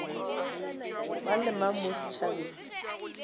mang le mang mo setšhabeng